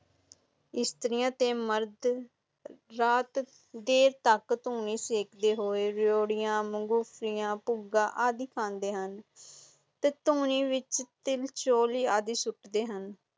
ਸਤਰੀਆਂ ਤੇ ਮਰਦ ਰਾਤ ਜੇ ਤਕ ਤੁਨੀ ਸਿੱਖਦੇ ਹਨ ਰਯੋਦਿਆਂ ਮੁੰਗਫਾਲਿਟੀਆਂ ਪੱਗਾਂ ਆਦਿ ਖਾਂਦੇ ਹਨ ਤੇ ਤੁਨੀ ਵਿਚ ਤਿਲਚੌਲੀ ਆਦਿ ਸੁੱਟਦੇ ਹਨ